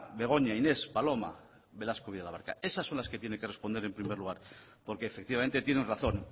begoña inés paloma estas son las que tiene que responder en primer lugar porque efectivamente tienen razón